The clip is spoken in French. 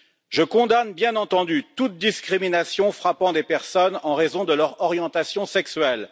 Je condamne, bien entendu, toute discrimination frappant des personnes en raison de leur orientation sexuelle.